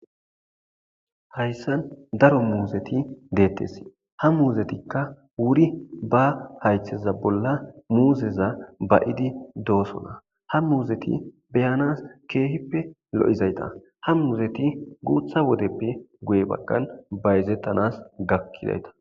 hayssan daro muuzeti deettes ha muuzetikka wuri ba haytheza bolla muuzeza bayidi doosona ha muuzeti beyanas keehippe lo7izayta ha muuzeti guutha wodeppe guye baggan bayzettanas gakkidayta